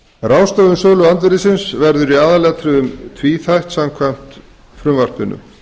ráðstöfun söluandvirðisins verður í aðalatriðum tvíþætt samkvæmt frumvarpinu